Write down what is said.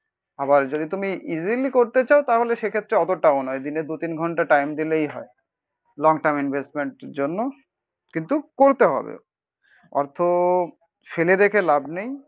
আবার যদি তুমি ইসিলি করতে চাও তাহলে সেক্ষেত্রে অতটাও নয়, দিনে দু তিন ঘন্টা টাইম দিলেই হয় লং টার্ম ইনভেস্টমেন্টের জন্য কিন্তু করতে হবে। অর্থ ফেলে দেখে লাভ নেই